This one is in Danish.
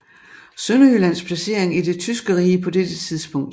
Sønderjyllands placering i det tyske rige på dette tidspunkt